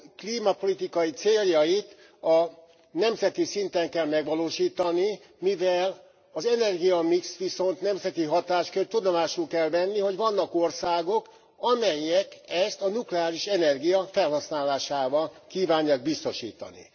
Az Unió klímapolitikai céljait nemzeti szinten kell megvalósítani, mivel az energiamix viszont nemzeti hatáskör, tudomásul kell venni, hogy vannak országok, amelyek ezt a nukleáris energia felhasználásával kívánják biztosítani.